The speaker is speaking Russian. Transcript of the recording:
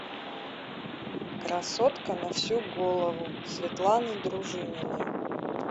красотка на всю голову светланы дружининой